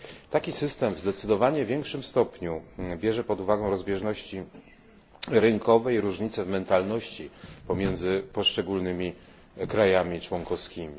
Taki system w zdecydowanie większym stopniu bierze pod uwagę rozbieżności rynkowe i różnice w mentalności pomiędzy poszczególnymi krajami członkowskimi.